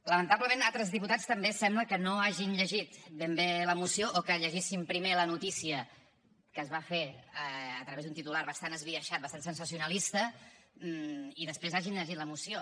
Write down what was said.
lamentablement altres diputats també sembla que no hagin llegit ben bé la moció o que hagin llegit primer la notícia que se’n va fer a través d’un titular bastant esbiaixat bastant sensacionalista i després hagin llegit la moció